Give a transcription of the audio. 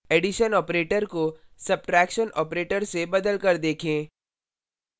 addition operator को subtraction operator से बदल कर देखें